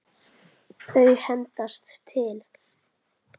Þau hendast til.